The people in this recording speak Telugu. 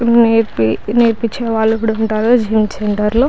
నేర్ప నేర్పించేవాళ్ళు కూడా ఉంటారు జిం సెంటర్ లో --